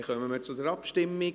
Dann kommen wir zur Abstimmung.